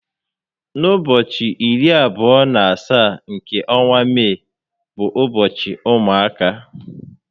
N'ụbọchị iri abụọ na asaá nke ọnwa Mee bụ ụbọchị ụmụaka